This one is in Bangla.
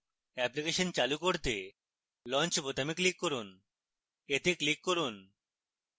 অ্যাপ্লিকেশন চালু করতে launch বোতামে click করুন এতে click করুন